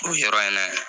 O yɔrɔ in na